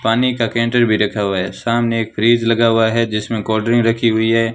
पानी का कैंटर भी रखा हुआ है सामने एक फ्रिज लगा हुआ है जिसमें कोल्ड ड्रिंक रखी हुई है।